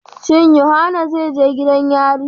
Shin yohana zai je gidan yari.?